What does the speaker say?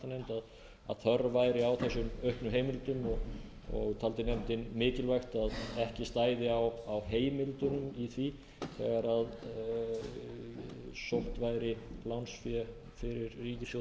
skattanefnd að þörf væri á þessum auknu heimildum og taldi nefndin mikilvægt að ekki stæði á heimildunum í því þegar sótt væri lánsfé fyrir ríkissjóð á yfirstandandi ári